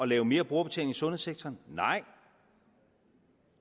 lave mere brugerbetaling i sundhedssektoren nej